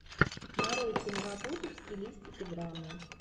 нарой киноработу в стилистике драмы